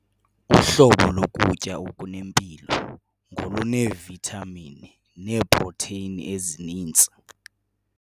Uhlobo lokutya okunempilo ngoluneevithamini neeprotheyini ezininzi.